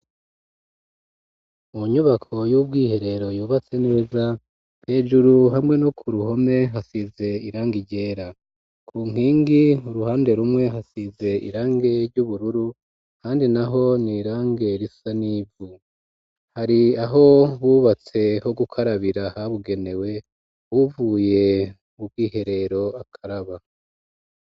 Munyubako y'ubwiherero yubatse neza hejuru hamwe no ku ruhome hasize irangi ryera ku nkingi uruhande rumwe hasize irange ry'ubururu kandi naho ni irange risa nivu hari aho bubatse ho gukarabira habugenewe bavuye mubwiherero bakaraba.